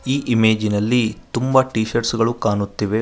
ಈ ಇಮೇಜಿ ನಲ್ಲಿ ತುಂಬಾ ಟೀ ಶರ್ಟ್ಸ್ ಗಳು ಕಾಣುತ್ತಿವೆ ಒನ್--